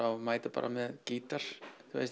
og mæta bara með gítar